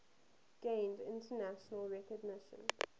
gained international recognition